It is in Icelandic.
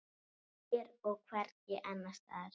Hér og hvergi annars staðar.